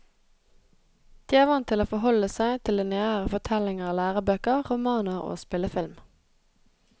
De er vant til å forholde seg til lineære fortellinger i lærebøker, romaner og spillefilm.